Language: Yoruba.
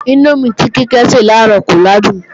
Índómì tí Kíkẹ́ se làárọ̀ kò làádùn